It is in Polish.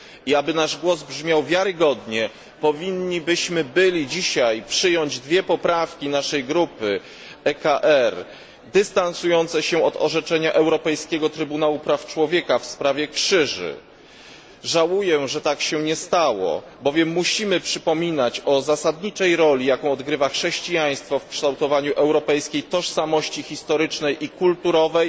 Aby nasz głos brzmiał wiarygodnie powinniśmy byli dzisiaj przyjąć dwie poprawki naszej grupy EKR dystansujące się wobec orzeczenia Europejskiego Trybunału Praw Człowieka w sprawie krzyży. Żałuję, że tak się nie stało, bowiem musimy przypominać o zasadniczej roli, jaką odgrywa chrześcijaństwo w kształtowaniu europejskiej tożsamości historycznej i kulturowej